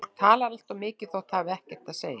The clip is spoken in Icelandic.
Fólk talar allt of mikið þótt það hafi ekkert að segja.